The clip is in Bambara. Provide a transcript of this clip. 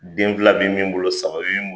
Den fila be min bolo ,saba be min bolo